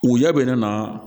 Woɲɛ bɛ ne na